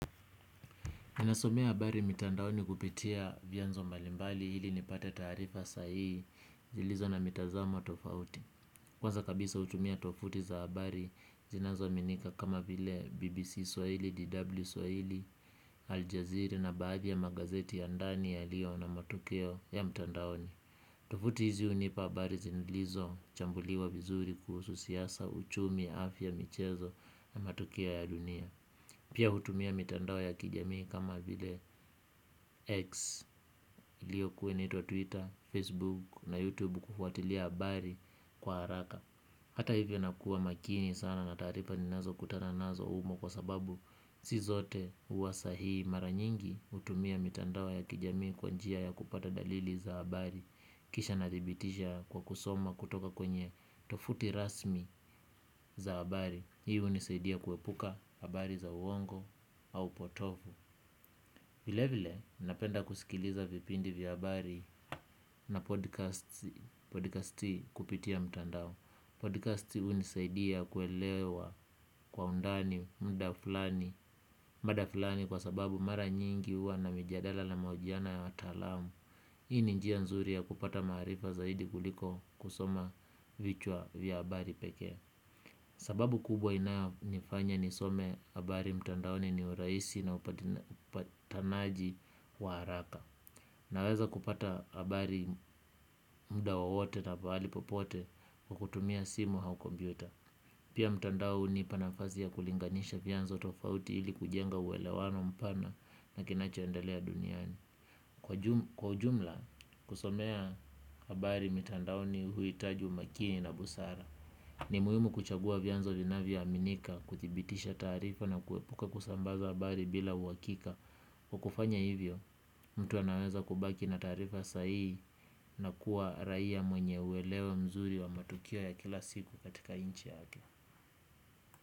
Ninasomea habari mitandaoni kupitia vyanzo mbalimbali ili nipate taarifa sahihi zilizo na mitazamo tofauti. Kwanza kabisa hutumia tovuti za habari zinazo aminika kama vile BBC Swahili, DW Swahili, Al Jazeera na baadhi ya magazeti ya ndani ya liyo na matukio ya mtandaoni. Tofuti hizi hunipa habari zilizo chambuliwa vizuri kuhusu siasa, uchumi, afya, michezo na matukio ya dunia. Pia hutumia mitandao ya kijamii kama vile X iliyo kuwa inaitwa twitter, facebook na youtube kufuatilia habari kwa haraka. Hata hivyo nakuwa makini sana nataarifa ninazo kutana nazo humo kwa sababu sizote huwasa hihi mara nyingi hutumia mitandao ya kijamii kwanjia ya kupata dalili za habari. Kisha nadhibitisha kwa kusoma kutoka kwenye tovuti rasmi za habari. Hii hunisaidia kuepuka habari za uongo au potovu. Vile vile, napenda kusikiliza vipindi vya habari na podcasti kupitia mtandao. Podcasti hunisaidia kuelewa kwa undani muda fulani. Mada fulani kwa sababu mara nyingi huwa na mijadala na mahojiano ya wataalamu. Hii ni njia nzuri ya kupata maarifa zaidi kuliko kusoma vichwa vya habari pekee. Sababu kubwa inayo nifanya nisome habari mtandaoni ni urahisi na upatanaji wa haraka. Naweza kupata habari muda wowote na pahali popote kwa kutumia simu au kompyuta. Pia mtandaohu panafasi ya kulinganisha vyanzo tofauti ili kujenga uelewano mpana na kinacho endelea duniani. Kwa ujumla kusomea habari mitandaoni huhitaji umakini na busara. Ni muhimu kuchagua vyanzo vina vyo aminika kudhibitisha taarifa na kuepuka kusambaza habari bila uhakika. Kwakufanya hivyo mtu anaweza kubaki na taarifa sahihi na kuwa raia mwenye uelewa mzuri wa matukio ya kila siku katika nchi yake.